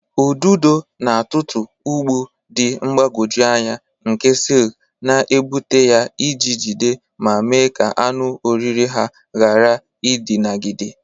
Ududo na-atụtụ ụgbụ dị mgbagwoju anya nke silk na-egbute ya iji jide ma mee ka anụ oriri ha ghara idinagide.